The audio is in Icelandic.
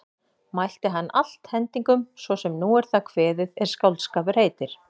Mælti hann allt hendingum svo sem nú er það kveðið er skáldskapur heitir.